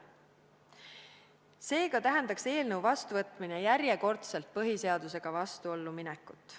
Seega tähendaks eelnõu seadusena vastuvõtmine järjekordselt põhiseadusega vastuollu minekut.